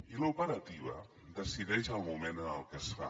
i l’operativa decideix el moment en què es fa